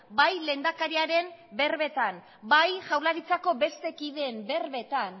bai lehendakariaren berbetan bai jaurlaritzako beste kideen berbetan